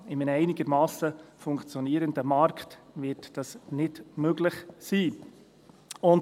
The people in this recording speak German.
Ja, in einem einigermassen funktionierenden Markt wird dies nicht möglich sein.